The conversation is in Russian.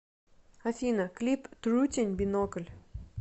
афина клип трутень бинокль